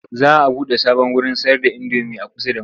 Za a buɗe sabon wurin sayarda indomi a kusa da mu.